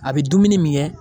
A be dumuni min kɛ